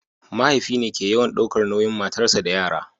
mahaifi ne ke yawan daukar nauyin matarsa da yara